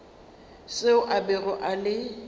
seo a bego a le